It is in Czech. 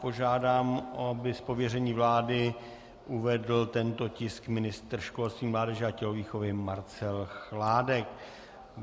Požádám, aby z pověření vlády uvedl tento tisk ministr školství, mládeže a tělovýchovy Marcel Chládek.